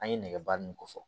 An ye nɛgɛba ninnu ko fɔ